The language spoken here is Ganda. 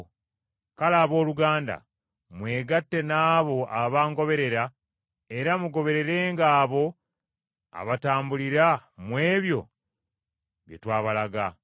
Kale, abooluganda, mwegatte n’abo abangoberera era mugobererenga abo abatambulira mu ebyo bye twabalaga.